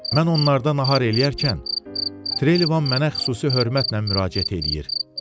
Mən onlarla nahar eləyərkən Trelivan mənə xüsusi hörmətlə müraciət eləyir.